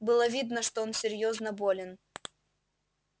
было видно что он серьёзно болен